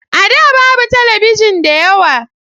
A da babu talabijin da yawa.